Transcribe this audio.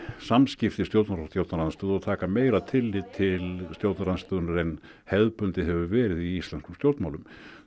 samskipti stjórnar og stjórnarandstöðu og taka meira tillit til stjórnarandstöðunnar en hefðbundið hefur verið í íslenskum stjórnmálum